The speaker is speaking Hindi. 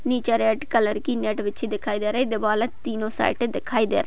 नीचे रेड कलर की मैट बिछी दिखाई दे रही हैं। दीवाले तीनो साइड दिखाई दे रही --